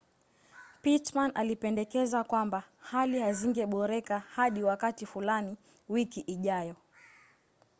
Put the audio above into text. pittman alipendekeza kwamba hali hazingeboreka hadi wakati fulani wiki ijayo